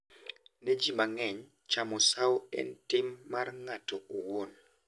Ne ji mang’eny, chamo sawo en tim mar ng’ato owuon.